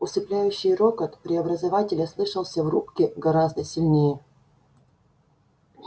усыпляющий рокот преобразователя слышался в рубке гораздо сильнее